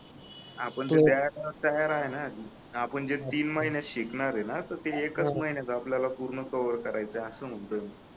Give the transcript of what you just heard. आपण ते द्यायला तयार आहे आपण जे तीन महिन्यात शिकणार आहे ना आहे ना तर ते एकच महिन्यात पूर्ण कव्हर करायच आहे असं म्हणतोय मी